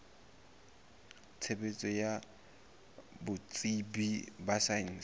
tshebetso ya botsebi ba saense